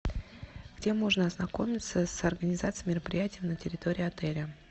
где можно ознакомиться с организацией мероприятий на территории отеля